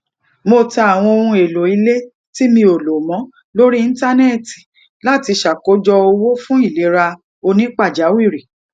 mo ta awon ohun elo ile ti mi o lo mo lori íńtánéètì lati sakojo owo fun ilera oni pajawiri